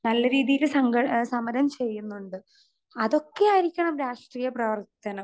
Speaker 2 നല്ല രീതിയില് സംഘ സമരം ചെയ്യുന്നുണ്ട്. അതൊക്കെ ആയിരിക്കണം രാഷ്ട്രീയ പ്രവർത്തനം.